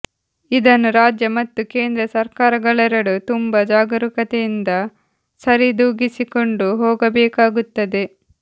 ಇದನ್ನು ರಾಜ್ಯ ಮತ್ತು ಕೇಂದ್ರ ಸರ್ಕಾರಗಳೆರಡೂ ತುಂಬ ಜಾಗರೂಕತೆಯಿಂದ ಸರಿದೂಗಿಸಿಕೊಂಡು ಹೋಗಬೇಕಾಗುತ್ತದೆ